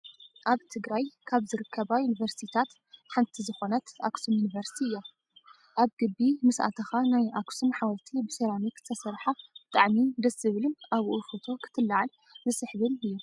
ኣብ ትግራይ ካብ ዝርከባ ዩኒቨርስትታት ሓንቲ ዝኮነት ኣክሱም ዩኒቨርስቲ እያ። ኣብ ግቢ ምስ ኣተካ ናይ ኣክሱም ሓወልቲ ብሰራሚክ ዝተሰረሓ ብጣዕሚ ደስ ዝብልን ኣብኡ ፎቶ ክትላዕል ዝስሕብን እዩ።